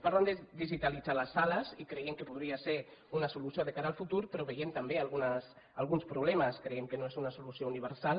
parlen de digitalitzar les sales i creiem que podria ser una solució de cara al futur però hi veiem també alguns problemes creiem que no és una solució universal